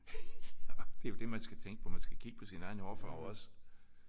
Ja det er jo det man skal tænke på. Man skal kigge på sin egen hårfarve også